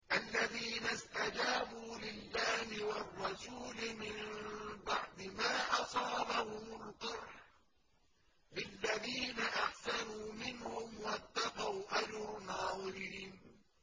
الَّذِينَ اسْتَجَابُوا لِلَّهِ وَالرَّسُولِ مِن بَعْدِ مَا أَصَابَهُمُ الْقَرْحُ ۚ لِلَّذِينَ أَحْسَنُوا مِنْهُمْ وَاتَّقَوْا أَجْرٌ عَظِيمٌ